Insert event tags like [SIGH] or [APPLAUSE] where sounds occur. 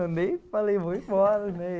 Eu nem falei, vou embora [LAUGHS]